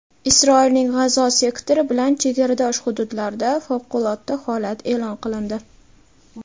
Isroilning G‘azo sektori bilan chegaradosh hududlarida favqulodda holat eʼlon qilindi.